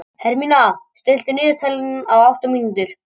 Hermína, stilltu niðurteljara á átta mínútur.